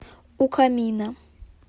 у камина